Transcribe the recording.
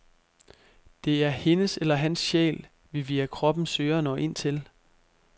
Det er hendes eller hans sjæl, vi via kroppen søger at nå ind til.